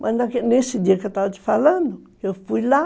Mas nesse dia que eu estava te falando, eu fui lá.